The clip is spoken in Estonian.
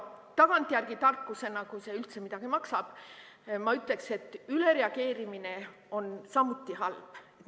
Tagantjärele tarkusena, kui see üldse midagi maksab, ma ütlen, et ülereageerimine on samuti halb.